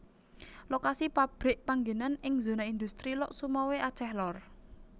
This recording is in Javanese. Lokasi pabrik panggenan ing zona industri Lhokseumawe Aceh Lor